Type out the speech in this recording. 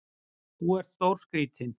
Þú ert stórskrítinn!